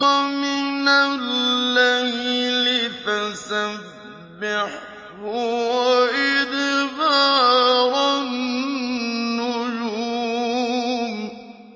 وَمِنَ اللَّيْلِ فَسَبِّحْهُ وَإِدْبَارَ النُّجُومِ